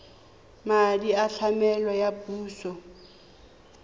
madi a tlamelo a puso